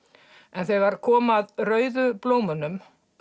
en þegar kom rauðu blómunum